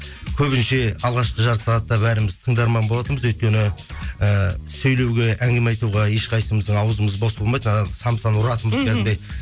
көбіне ше алғашқы жарты сағатта бәріміз тыңдарман болатынбыз өйткені і сөйлеуге әңгіме айтуға ешқайсысымыздың аузымыз бос болмайтын анау самсаны ұратынбыз